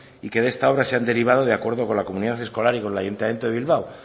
y que de esta obra se han derivado de acuerdo con la comunidad escolar y con el ayuntamiento de bilbao